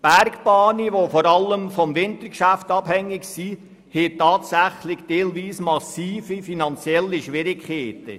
Bergbahnen, die hauptsächlich vom Wintergeschäft abhängig sind, haben teilweise tatsächlich massive finanzielle Schwierigkeiten.